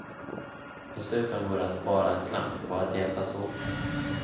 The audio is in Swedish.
Dessutom går det att spara en slant på att hjälpas åt.